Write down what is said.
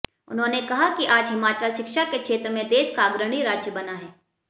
उन्होंने कहा कि आज हिमाचल शिक्षा के क्षेत्र मे देश का अग्रणी राज्य बना है